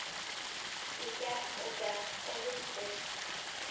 Ég gekk og gekk og villtist.